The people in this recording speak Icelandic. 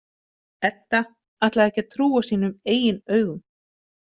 Edda ætlaði ekki að trúa sínum eigin augum.